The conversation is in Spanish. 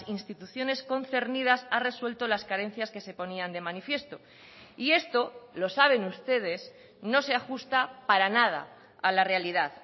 instituciones concernidas ha resuelto las carencias que se ponían de manifiesto y esto lo saben ustedes no se ajusta para nada a la realidad